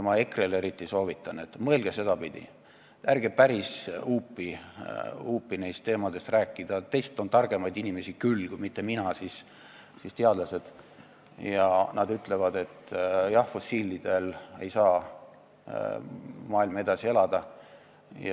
Ma soovitan eriti EKRE-le, et mõelge sedapidi, ärge päris huupi neist teemadest rääkige, teist on targemaid inimesi küll, kui mitte mina, siis teadlased, ja nad ütlevad, et jah, fossiilkütustel ei saa maailm edasi püsida.